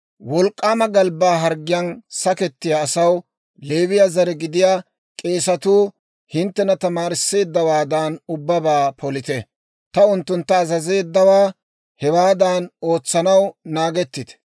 «Wolk'k'aama galbbaa harggiyaan sakettiyaa asaw Leewiyaa zare gidiyaa k'eesatuu hinttena tamaarisseeddawaadan ubbabaa polite; ta unttuntta azazeeddawaa hewaadan ootsanaw naagettite.